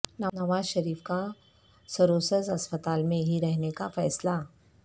نواز شریف کا سروسز اسپتال میں ہی رہنے کا فیصلہ